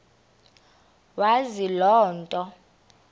wazi loo nto